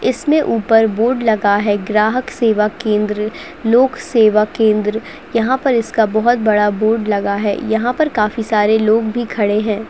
इसमें ऊपर बोर्ड लगा है ग्राहक सेवा केंद्र लोक सेवा केंद्र। यहाँ पर इसका बहोत बड़ा बोर्ड लगा है यहाँ पर काफी सारे लोग भी खड़े हैं।